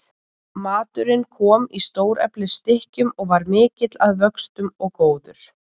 Maturinn kom í stóreflis stykkjum og var mikill að vöxtum og góður.